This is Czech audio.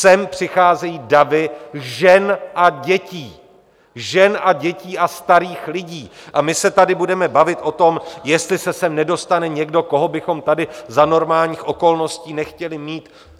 Sem přicházejí davy žen a dětí, žen a dětí a starých lidí, a my se tady budeme bavit o tom, jestli se sem nedostane někdo, koho bychom tady za normálních okolností nechtěli mít?